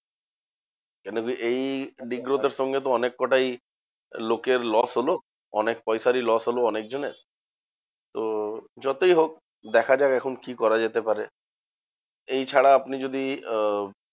কেন কি? এই দিগ্গদের সঙ্গে অনেক কোটাই লোকের loss হলো। অনেক পয়সারই loss হলো অনেকজনের। তো যতই হোক দেখা যাক, এখন কি করা যেতে পারে? এই ছাড়া আপনি যদি আহ